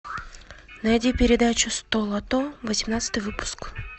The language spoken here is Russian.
найди передачу столото восемнадцатый выпуск